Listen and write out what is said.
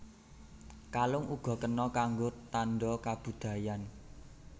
Kalung uga kena kanggo tanda kabudayan